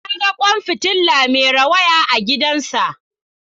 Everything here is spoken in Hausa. Na ga kwan fitila mai rawaya a gidansa